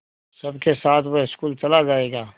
सबके साथ वह स्कूल चला जायेगा